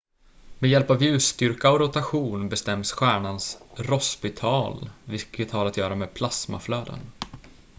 med hjälp av ljusstyrka och rotation bestäms stjärnans rossbytal vilket har att göra med plasmaflöden